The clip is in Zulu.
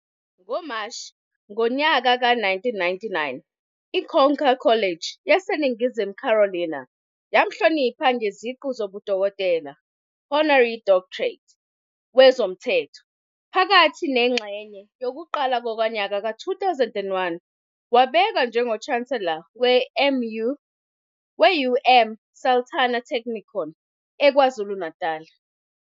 NgoMashi ngonyaka ka-1999 i-Coker College yaseNingizimu Carolina yamhlonipha ngeziqu zobudokotela, Honorary Doctorate, wezomthetho. Phakathi nengxenye yokuqala konyaka ka-2001 wabekwa njengoChancellor we-UM Sultan Technikon eKwaZulu-Natal.